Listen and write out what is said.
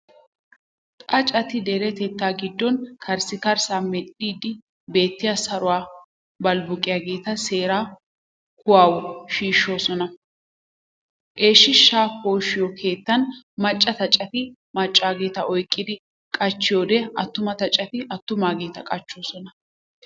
Xaaceti deretettaa giddon karissikkarssaa medhdhidi biittee saruwaa balbbuqqiyageeta seeraa kuwawu shiishshoosona. Eeshshaa poshiyo keettan macca xaaceti maccaageeta oyqqidi qachchiyoode attuma xaaceti attumaageeta qachchoosona.